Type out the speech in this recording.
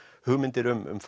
hugmyndir um